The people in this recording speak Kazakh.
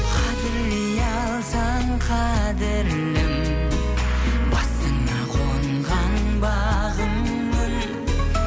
қадірлей алсаң қадірлім басыңа қонған бағыңмын